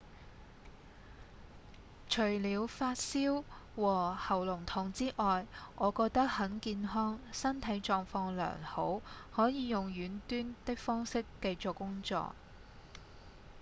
「除了發燒和喉嚨痛之外我覺得很健康、身體狀況良好可以用遠端的方式繼續工作